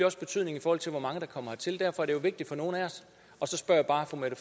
også betydning i forhold til hvor mange der kommer hertil derfor er det jo vigtigt for nogle af os og så spørger jeg bare fru mette